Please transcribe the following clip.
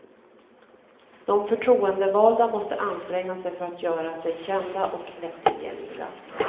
De förtroendevalda måste anstränga sig för att göra sig kända och lättillgängliga.